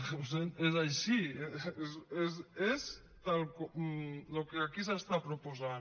ho sento és així és tal el que aquí s’està proposant